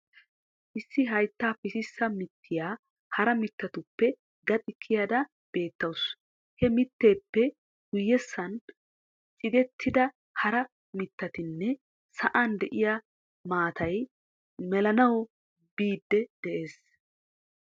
Issi haytta pississa mittiya hara mittatuppe gaxi kiyada beettawusu. he mitteppe guyessan ciggetida hara mittatinne, sa"an diyaa maatay melanawu biidi dees